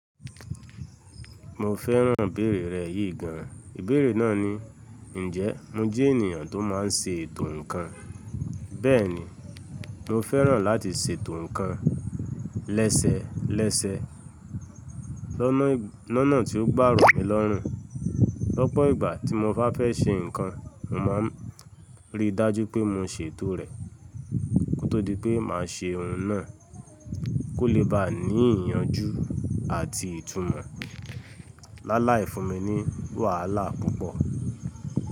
Mo fẹ́ràn ìbéèrè rẹ̀ yìí gan. Ìbéèrè náà ni, “Ǹjẹ́ mo jẹ́ ènìyàn tó má n ṣe ètò ǹkan?” Bẹ́ẹ̀ ni, mo fẹ́ràn láti ṣe ètò ǹkan lẹ́sẹẹ lẹ́sẹẹ. Lọ́nà tí ó gbà rùn mi lọ́rùn. Lọ́pọ̀ ìgbà tí mo bá fẹ́ ṣe ǹkan, mo má n rí i dájú pé mo n ṣe ètò rẹ̀. Kótó di pé màá ṣe oun náà kó lè bá à ní ìyànjú àti ìtumọ̀. Láláì fún mi ní wàhálà púpọ̀.